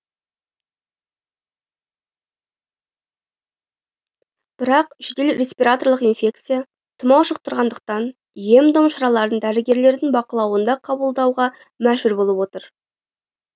бірақ жедел респираторлық инфекция тұмау жұқтырғандықтан ем дом шараларын дәрігерлердің бақылауында қабылдауға мәжбүр болып отыр